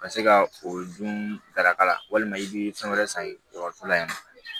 Ka se ka o dun daraka la walima i bi fɛn wɛrɛ san dɔgɔtɔrɔso la yan nɔ